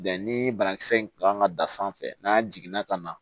Bɛn ni banakisɛ in kan ka dan sanfɛ n'a jiginna ka na